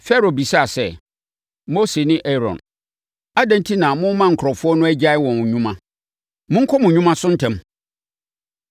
Farao bisaa sɛ, “Mose ne Aaron, adɛn enti na morema nkurɔfoɔ no agyae wɔn nnwuma? Monkɔ mo nnwuma so ntɛm!”